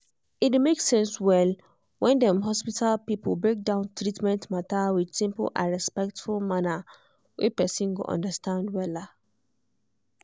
e dey make sense well when dem hospital people break down treatment matter with simple and respectful manner wey person go understand.